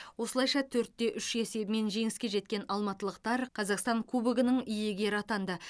осылайша төрт те үш есебімен жеңіске жеткен алматылықтар қазақстан кубогының иегері атанды